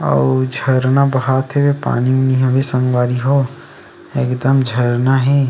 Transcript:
अउ झरना बहत हे पानी हवे संगवारी हो एक दम झरना हे।